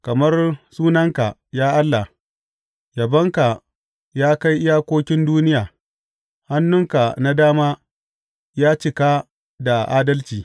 Kamar sunanka, ya Allah, yabonka ya kai iyakokin duniya; hannunka na dama ya cika da adalci.